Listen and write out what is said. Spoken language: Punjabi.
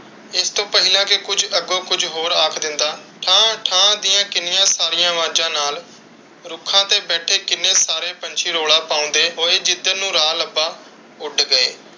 ਇਸ ਤੋਂ ਪਹਿਲਾ ਕਿ ਕੁਝ ਅੱਗੋਂ ਕੁਝ ਹੋਰ ਆਖ ਦਿੰਦਾ, ਠਾਂ ਠਾਂ ਦੀਆਂ ਕਿੰਨੀਆਂ ਸਾਰੀਆਂ ਅਵਾਜ਼ਾਂ ਨਾਲ ਰੁੱਖਾਂ ਤੇ ਬੈਠੇ ਕਿੰਨੇ ਸਾਰੇ ਪੰਛੀ ਰੌਲ਼ਾ ਪਾਉਂਦੇ ਹੋਏ ਜਿੱਧਰ ਨੂੰ ਰਾਹ ਲੱਬਾ ਨੂੰ ਉੱਡ ਗਏ।